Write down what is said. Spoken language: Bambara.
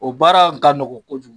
O baara ka nɔgɔ kojugu.